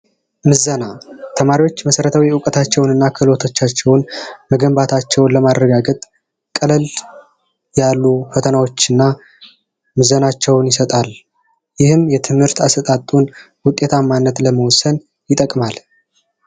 ምዘና ተማሪዎች መሠረታዊ ዕውቀቶቻቸውንና ክህሎታቸውን መገንባታቸውን ለማረጋገጥ ቀለል ያሉ ፈተናዎችና ምዘናዎች ይሰጣል፤ ይህም የትምህርት አሰጣጡንና ውጤታማነቱን ለመወሰን ይጠቅማል።